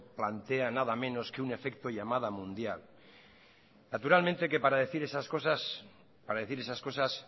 plantea nada menos que un efecto llamada mundial naturalmente que para decir esas cosas para decir esas cosas